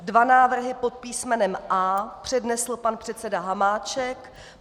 Dva návrhy pod písmenem A přednesl pan předseda Hamáček.